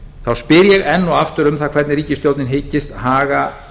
þá spyr ég enn og aftur um það hvernig ríkisstjórnin hyggst haga